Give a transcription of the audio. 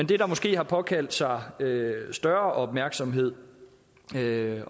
der måske har påkaldt sig større opmærksomhed med